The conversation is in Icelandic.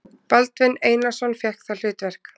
Baldvin Einarsson fékk það hlutverk.